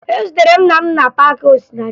Ezutere m nna m na paakị Osinachi